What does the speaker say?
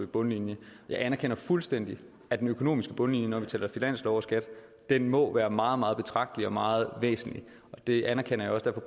bundlinje jeg anerkender fuldstændig at den økonomiske bundlinje når vi taler finanslov og skat må være meget meget betragtelig og meget væsentlig det anerkender jeg